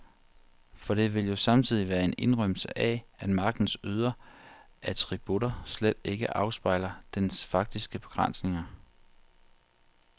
For det vil jo samtidig være en indrømmelse af, at magtens ydre attributter slet ikke afspejler dens faktiske begrænsninger.